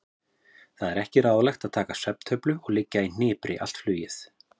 Það er ekki ráðlegt að taka svefntöflu og liggja í hnipri allt flugið.